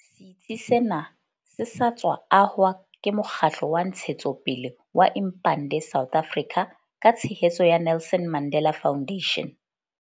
Setsi sena se sa tswa ahwa ke mokgatlo wa ntshetsopele wa Impande South Africa ka tshehetso ya Nelson Mandela Foundation.